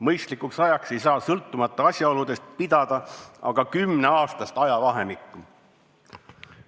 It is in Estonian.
Mõistlikuks ajaks ei saa sõltumata asjaoludest pidada aga 10-aastast ajavahemikku.